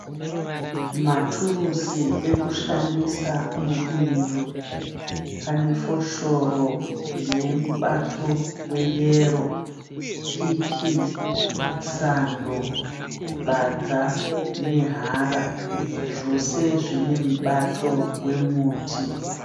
Maturusi ekushandisa mubindu. Pane foshoro ine mubato weyero. Piki, Sando, bandza nehara zvose zvine mubato wemuti.